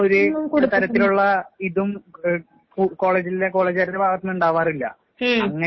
ഒന്നും കൊടുത്തിട്ടില്ല. ഉം